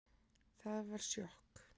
Það var sjokk